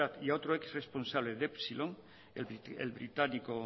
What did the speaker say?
y a otro exresponsable de epsilon el británico